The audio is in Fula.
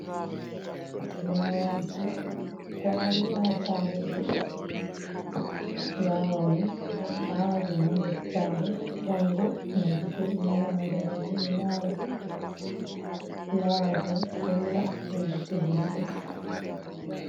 Fulawaji ɗo tari ha sare goɗɗo, flawani be ɗo awa ɗum ha nder sare ngam wodina gite innu adama, fulawa bo ɗo labbina gite himɓe.